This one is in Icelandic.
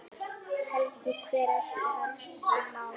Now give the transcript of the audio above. Helgi, hver eru helstu málin?